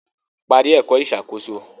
Parí ẹ̀kọ́ ìṣàkóso